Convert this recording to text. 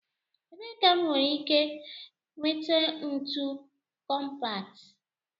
Ebee ka m nwere ike nweta ntu kọmpat?